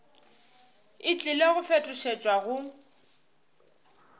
e tlile go fetošetšwa go